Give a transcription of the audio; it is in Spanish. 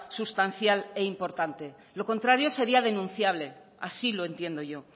sustancial e importante lo contrario sería denunciable así lo entiendo yo